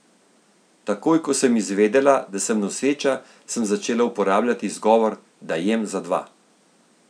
Takoj, ko sem izvedela, da sem noseča, sem začela uporabljati izgovor, da jem za dva.